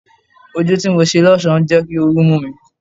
Ojú tí mo ṣe lọ́sọ̀ọ́ ń jẹ́ kí ooru mú mi.